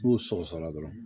N'u sɔgɔsɔgɔra dɔrɔn